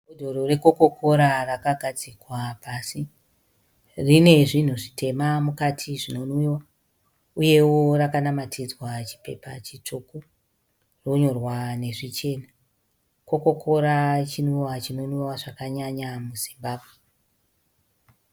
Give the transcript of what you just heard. Bhodhoro rekokokora rakagadzikwa pasi. Rine zvinhu zvitema mukati zvinonwiwa uyewo rakanamatidzwa chipepa chitsvuku, ronyorwa nezvichena. Kokokora chinwiwa chinonwiwa zvakanyanya muZimbabwe.